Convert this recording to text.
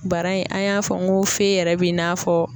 Bara in an y'a fɔ n ko fe yɛrɛ bi n'a fɔ.